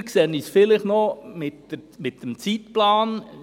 Ein wenig düsterer sehe ich es vielleicht noch mit dem Zeitplan.